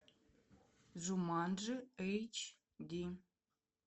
джуманджи эйч ди